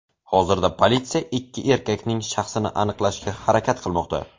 Hozirda politsiya ikki erkakning shaxsini aniqlashga harakat qilmoqda.